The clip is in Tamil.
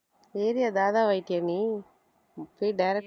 area தாதாவாயிட்டாயா நீ போய் direct ஆ